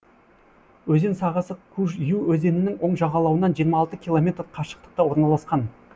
өзен сағасы куж ю өзенінің оң жағалауынан жиырма алты километр қашықтықта орналасқан